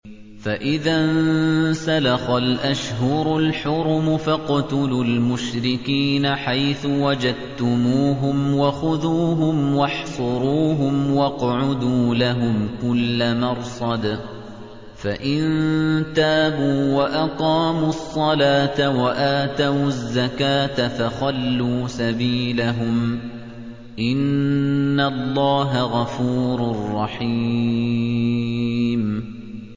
فَإِذَا انسَلَخَ الْأَشْهُرُ الْحُرُمُ فَاقْتُلُوا الْمُشْرِكِينَ حَيْثُ وَجَدتُّمُوهُمْ وَخُذُوهُمْ وَاحْصُرُوهُمْ وَاقْعُدُوا لَهُمْ كُلَّ مَرْصَدٍ ۚ فَإِن تَابُوا وَأَقَامُوا الصَّلَاةَ وَآتَوُا الزَّكَاةَ فَخَلُّوا سَبِيلَهُمْ ۚ إِنَّ اللَّهَ غَفُورٌ رَّحِيمٌ